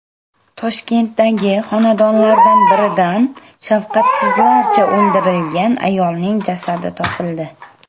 Toshkentdagi xonadonlardan biridan shafqatsizlarcha o‘ldirilgan ayolning jasadi topildi.